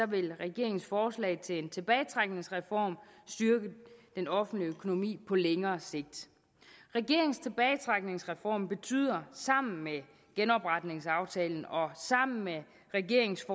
vil regeringens forslag til en tilbagetrækningsreform styrke den offentlige økonomi på længere sigt regeringens tilbagetrækningsreform betyder sammen med genopretningsaftalen og sammen med regeringens